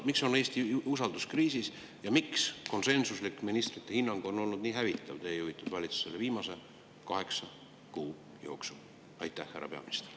Miks on Eesti usalduskriisis ja miks konsensuslik ministrite hinnang on teie juhitud valitsusele viimase kaheksa kuu jooksul olnud nii hävitav?